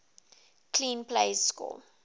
clean plays score